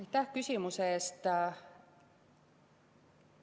Aitäh küsimuse eest!